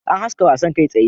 An haska wasan kai tsaye